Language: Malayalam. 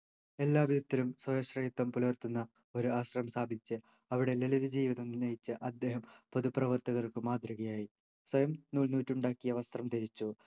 എല്ലാ വിധത്തിലും സർവശ്രേയത്വം പുലർത്തുന്ന ഒരു ആശ്രമം സ്ഥാപിച്ച് അവിടെ ലളിത ജീവിതം നയിച്ച അദ്ദേഹം പൊതു പ്രവർത്തകർക്ക് മാതൃകയായി സ്വയം നൂൽ നൂറ്റുണ്ടാക്കിയ വസ്ത്രം ധരിച്ചും